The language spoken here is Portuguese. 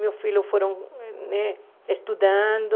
Meus filhos foram né estudando.